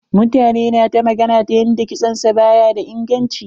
Mutane na ta magana ta yanda kitson sa ba ya da inganci.